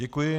Děkuji.